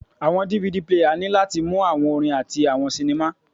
Awọn DVD player ni lati mu awọn orin ati awọn sinima